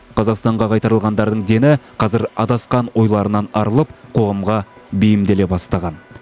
қазақстанға қайтарылғандардың дені қазір адасқан ойларынан арылып қоғамға бейімделе бастаған